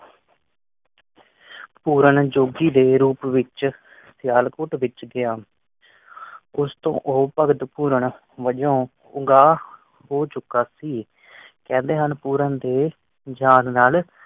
ਪੂਰਨ ਜੋਗੀ ਦੇ ਰੂਪ ਵਿਚ ਸਿਆਲਕੋਟ ਵਿੱਚ ਗਿਆ। ਕੁਛ ਤੋਂ ਉਹ ਭਗਤ ਪੂਰਨ ਵਜੋਂ ਪੂਰਾ ਹੋ ਚੁੱਕਾ ਸੀ ਕਹਿੰਦੇ ਆਂ ਪੂਰਨ ਦੇ ਜਾਂ ਨਾਲ